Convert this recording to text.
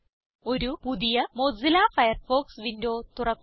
ഒരു പുതിയ Mozilla Firefox window തുറക്കുക